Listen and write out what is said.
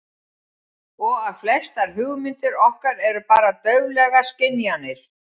Og að flestar hugmyndir okkar eru bara dauflegar skynjanir.